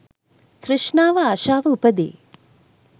තෘෂ්ණාව, ආශාව උපදී.